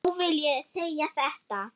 Nú vil ég segja þetta.